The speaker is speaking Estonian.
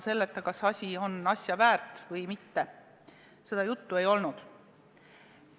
Seda juttu, kas asi on arvestamist väärt või mitte, ei olnud.